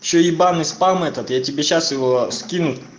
ещё ебаный спам этот я тебе сейчас его скину